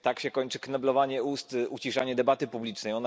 Tak się kończy kneblowanie ust, uciszanie debaty publicznej.